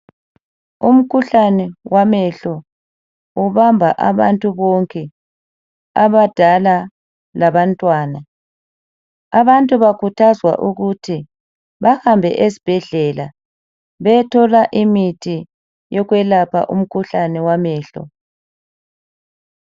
Umkhuhlani wamehlo ubamba abantu bonke abadala labantwana abantu bakhuthazwa ukuthi bahambe ezibhedlela bethola imitho yokwelapha umkhuhlani wamehlo.